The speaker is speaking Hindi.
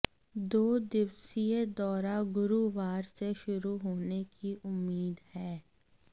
दो दिवसीय दौरा गुरूवार से शुरू होने की उम्मीद है